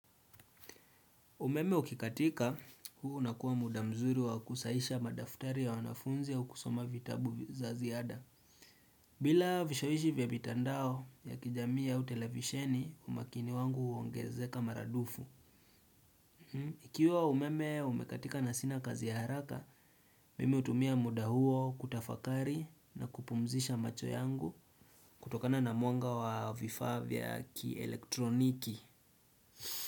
Umeme ukikatika, huu unakuwa muda mzuri wa kusahisha madaftari ya wanafunzi au kusoma vitabu za ziada. Bila vishawishi vya mitandao ya kijamii au televisheni, umakini wangu huongezeka maradufu. Ikiwa umeme umekatika na sina kazi ya haraka, mimi hutumia muda huo kutafakari na kupumzisha macho yangu kutokana na mwanga wa vifavya kielektroniki.